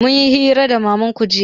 Mun yi hira da mamanku jiya